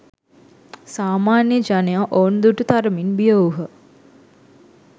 සාමාන්‍ය ජනයා ඔවුන් දුටු තරමින් බිය වූහ.